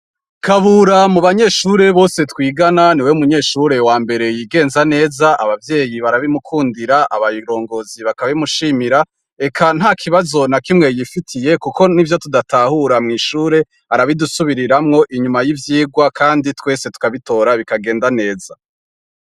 Kabura mu banyeshure bose twigana niwe munyeshure wa mbere yigenza neza abavyeyi barabimukundira abarongozi bakabimishimira eka nta kibazo na kimwe yifitiye kuko nivyo tudatahura mw'ishure arabidusubiriramwo inyuma y'ivyigwa kandi twese tukabitora bikagenda neza.